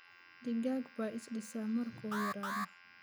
Digaag baa is dhisa markuu yaraado.